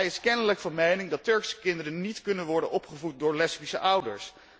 Hij is kennelijk van mening dat Turkse kinderen niet kunnen worden opgevoed door lesbische ouders.